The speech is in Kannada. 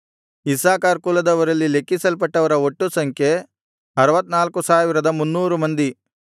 ಇಸ್ಸಾಕಾರ್ ಕುಲದವರಲ್ಲಿ ಲೆಕ್ಕಿಸಲ್ಪಟ್ಟವರ ಒಟ್ಟು ಸಂಖ್ಯೆ 64300 ಮಂದಿ